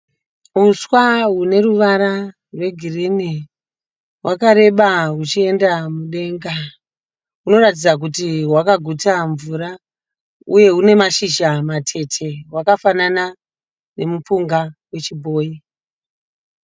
Huswa hune ruvara rwegirini hwakareba huchienda mudenga, hunoratidza kuti hwakaguta mvura uye hune mashizha matete hwakafanana nemupunga wechibhoyi.